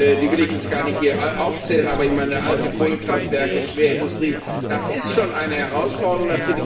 Die will ich hier gar nicht aufzählen, aber ich meine, alte Kohlekraftwerke, Schwerindustrie das ist schon eine Herausforderung.